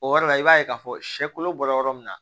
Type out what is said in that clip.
O yɔrɔ la i b'a ye k'a fɔ sɛ kolo bɔ yɔrɔ min na